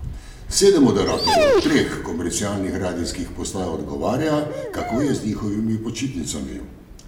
Sedem moderatorjev treh komercialnih radijskih postaj odgovarja, kako je z njihovimi počitnicami.